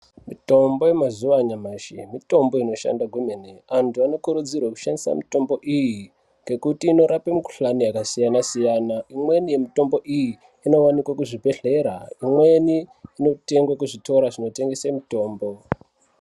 Mitombo yemazuva anyamashi mitombo inorapa maningi. Antu anokurudzirwa kushandise mitombo iyi, imweni yemitombo iyi inovanikwe kuzvibhehlera imweni inotengeswe kuzvitora zvinotengese mitombo.